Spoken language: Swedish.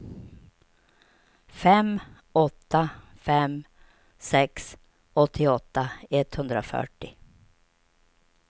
fem åtta fem sex åttioåtta etthundrafyrtio